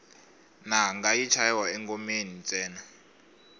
nanga yi chayiwa engomeni ntsena